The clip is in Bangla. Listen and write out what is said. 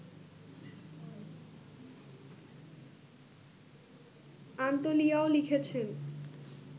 আন্তোলিয়াও লিখেছেন